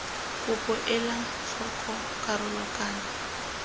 kopo ela tlhoko karolo kana